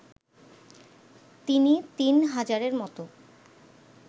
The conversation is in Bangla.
তিনি তিন হাজারের মতো